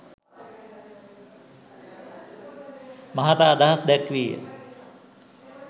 මහතා අදහස් දැක්වීය